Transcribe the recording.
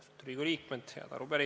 Lugupeetud Riigikogu liikmed!